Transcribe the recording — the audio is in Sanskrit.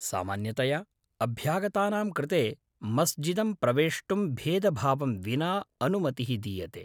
सामान्यतया अभ्यागतानां कृते मस्जिदं प्रवेष्टुं भेदभावं विना अनुमतिः दीयते।